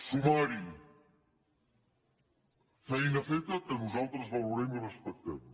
sumar hi feina feta que nosaltres valorem i respectem